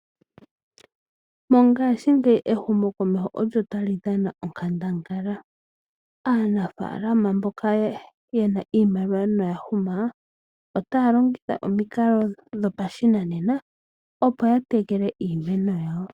Monga shi ngeyi ehumo komeho olyo tali dhana onkandangala. Aanafalama mboka yena iimaliwa noya huma, otaya longitha omikalo dhopashinanena opo yatekele iimeno ya wo.